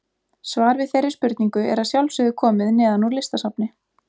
Svar við þeirri spurningu er að sjálfsögðu komið neðan úr Listasafni.